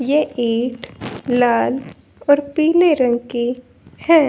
ये ईट लाल और पीले रंग की है।